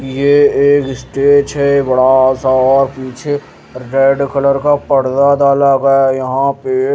ये एक स्टेच है बड़ा सा और पीछे रेड कलर का पड़दा डाला गया है यहाँ पे --